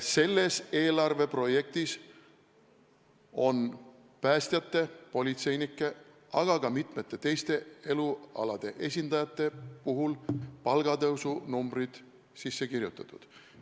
Selles eelarveprojektis on päästjate, politseinike, aga ka mitmete teiste elualade esindajate palgatõusu summad sisse kirjutatud.